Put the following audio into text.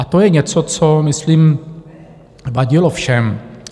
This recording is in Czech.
A to je něco, co myslím vadilo všem.